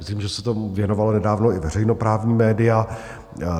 Myslím, že se tomu věnovala nedávno i veřejnoprávní média.